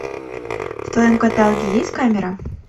в твоем каталоге есть камера